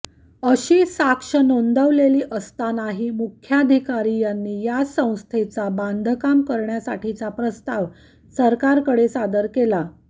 अशी साक्ष नोंदविलेली असतानाही मुख्याधिकारी यांनी याच संस्थेचा बांधकाम करण्यासाठीचा प्रस्ताव सरकारकडे सादर केला